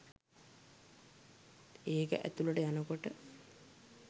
ඒක ඇතුලට යනකොට